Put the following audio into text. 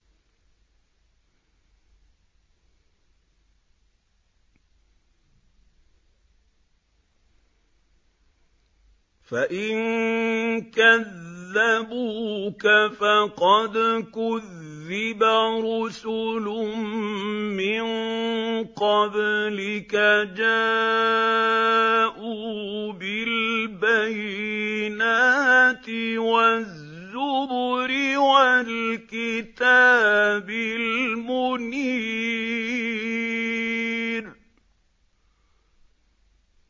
فَإِن كَذَّبُوكَ فَقَدْ كُذِّبَ رُسُلٌ مِّن قَبْلِكَ جَاءُوا بِالْبَيِّنَاتِ وَالزُّبُرِ وَالْكِتَابِ الْمُنِيرِ